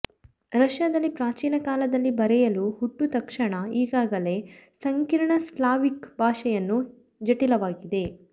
ರಷ್ಯಾದಲ್ಲಿ ಪ್ರಾಚೀನ ಕಾಲದಲ್ಲಿ ಬರೆಯಲು ಹುಟ್ಟು ತಕ್ಷಣ ಈಗಾಗಲೇ ಸಂಕೀರ್ಣ ಸ್ಲಾವಿಕ್ ಭಾಷೆಯನ್ನು ಜಟಿಲವಾಗಿದೆ